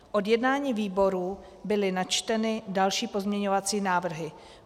Od jednání výboru byly načteny další pozměňovací návrhy.